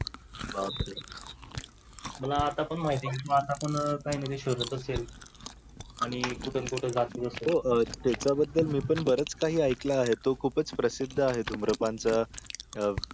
बाप रे. मला आता पण माहिती, आता पण काही ना काही तरी शोधत असेल आणि कुठून कुठून हो त्याचाबद्दल मी पण बरच काही ऐकलं आहे तो खूप च प्रसिद्ध आहे धुम्रपानच